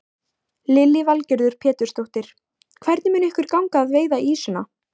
Lillý Valgerður Pétursdóttir: Hvernig mun ykkur ganga að veiða ýsuna?